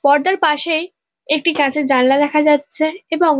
পর্দার পাশেই একটি কাঁচের জানালা দেখা যাচ্ছে এবং--